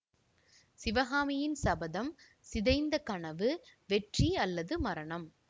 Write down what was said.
சிவகாமியின் சபதம்சிதைந்த கனவுவெற்றி அல்லது மரணம்